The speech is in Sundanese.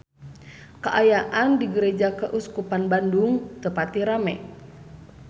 Kaayaan di Gereja Keuskupan Bandung teu pati rame